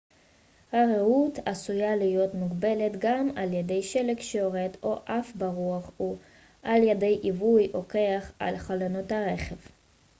הראות עשויה להיות מוגבלת גם על ידי שלג שיורד או עף ברוח או על ידי עיבוי או קרח על חלונות הרכב